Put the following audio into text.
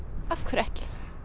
af hverju ekki